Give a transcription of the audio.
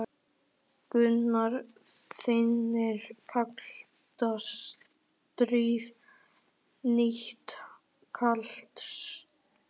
Gunnar Reynir: Kalt stríð, nýtt kalt stríð?